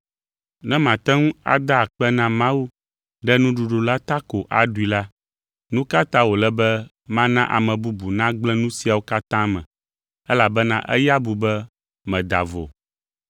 Ne màte ŋu ada akpe na Mawu ɖe nuɖuɖu la ta ko aɖui la, nu ka ta wòle be mana ame bubu nagblẽ nu siawo katã me, elabena eya bu be meda vo?